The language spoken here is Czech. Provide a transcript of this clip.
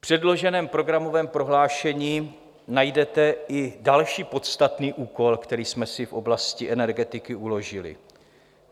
V předloženém programovém prohlášení najdete i další podstatný úkol, který jsme si v oblasti energetiky uložili.